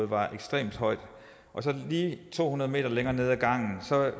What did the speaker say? var ekstremt højt og så lige to hundrede m længere nede ad gangen